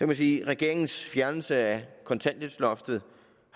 man sige at regeringens fjernelse af kontanthjælpsloftet